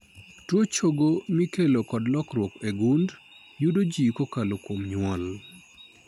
Tuo chogo mikelo kod lokruok e gund yudo ji kokalo kuom nyuol.